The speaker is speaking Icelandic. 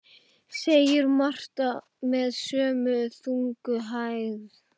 segir Marta með sömu þungu hægð.